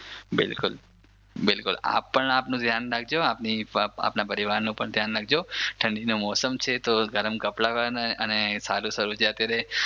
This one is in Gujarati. બિલકુલ બિલકુલ આપ પણ આપણું ધ્યાન રાખજો આપના પરિવારનું પણ ધ્યાન રાખજો ઠંડીનું મોસમ છે તો ગરમ કપડાં પહેરવાના અને સારું સારું જે અત્યારે